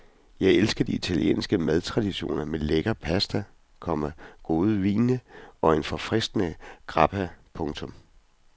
Jeg elsker de italienske madtraditioner med lækker pasta, komma gode vine og en forfriskende grappa. punktum